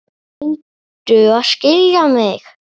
Reyndu að skilja mig.